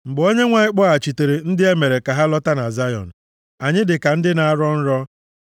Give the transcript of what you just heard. Mgbe Onyenwe anyị kpọghachitere ndị e mere ka ha lọta na Zayọn, + 126:1 \+xt Jer 29:14; Jul 3:1\+xt* anyị dị ka ndị na-arọ nrọ.